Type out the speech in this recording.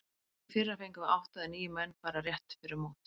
Í fyrra fengum við átta eða níu menn bara rétt fyrir mót.